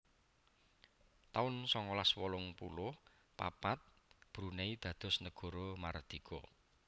taun songolas wolung puluh papat Brunei dados negara mardika